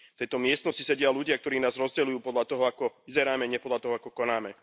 V tejto miestnosti sedia ľudia, ktorí nás rozdeľujú podľa toho, ako vyzeráme, nie podľa toho, ako konáme.